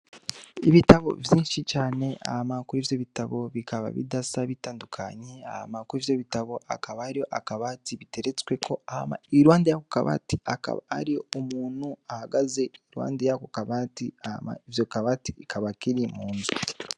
Ibitabo vyinshi cane hamakuru ivyo bitabo bikaba bidasa bitandukanyi ahma kuru ivyo bitabo akaba ario akabati biteretsweko ahma ilwande ya ko kabati akaba ari umuntu ahagaze ilwande ya ko kabati ama ivyo kabati ikaba akiri mu nze.